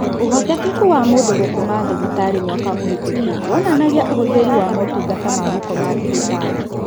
Ũhotekeku wa mũndũ gũkoma thibitarĩ mwaka mũhetũku wonanagia ũhũthĩri wa motungata ma gũkoma thibitarĩ